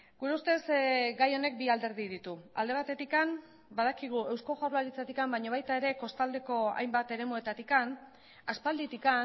gure ustez gai honek bi alderdi ditu alde batetik badakigu eusko jaurlaritzatik baina baita ere kostaldeko hainbat eremuetatik aspalditik